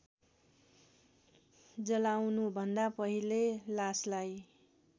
जलाउनुभन्दा पहिले लासलाई